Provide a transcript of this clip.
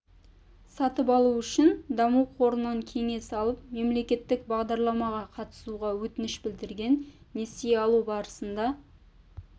сатып алу үшін даму қорынан кеңес алып мемелекеттік бағдарламаға қатысуға өтініш білдірген несие алу барысында